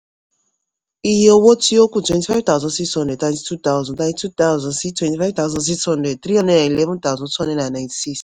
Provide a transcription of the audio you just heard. iye owó tí ó kù twenty-five thousand six hundred, thirty-two thousand, thirty-two thousand sí twenty-five thousand six hundred, three hundred and eleven thousand, two hundred and ninety-six